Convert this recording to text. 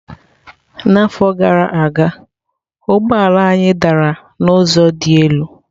N'afọ gara aga ụgbọ ala anyị dara n'ụzọ dị elu.